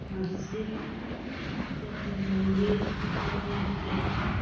मस्जिद या फिर मंदिर या फिर कहीं का --